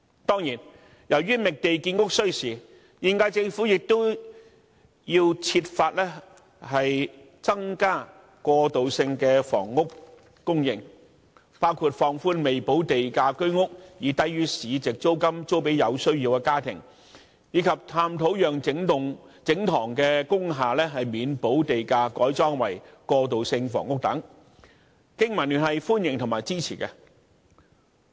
當然，由於覓地建屋需時，現屆政府亦要設法增加過渡性的房屋供應，包括放寬未補地價居屋以低於市值租金租予有需要的家庭，以及探討讓整幢工廈免補地價改裝為過渡性房屋等，經民聯歡迎和支持這些措施。